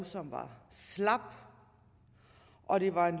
som var slapt og det var et